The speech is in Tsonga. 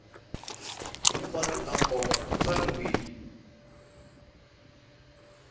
hinkwato ta nkoka ti tsariwile